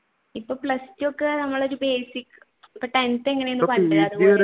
ഇപ്പൊ plus two ഒക്കെ നമ്മൾ ഒരു basic